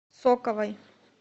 соковой